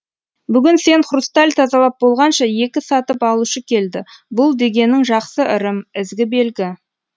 бүгін сен хрусталь тазалап болғанша екі сатып алушы келді бұл дегенің жақсы ырым ізгі белгі